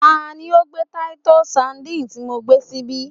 Ta ni o gbé Titus Sandine ti mo gbé síbí?